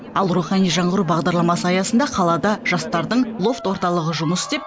ал рухани жаңғыру бағдарламасы аясында қалада жастардың лофт орталығы жұмыс істеп